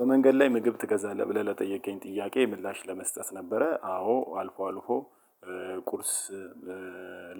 በመንገድ ላይ ምግብ ትገዛለህ ብለህ ለጠየቀኝ ጥያቄ ምላሽ ለመስጠት ነበረ አዎ አልፎ አልፎ ቁርስ